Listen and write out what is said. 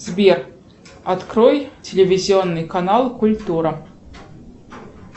сбер открой телевизионный канал культура